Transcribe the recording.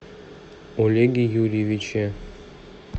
олеге юрьевиче